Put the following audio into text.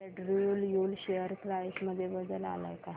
Andrew Yule share price मध्ये बदल आलाय का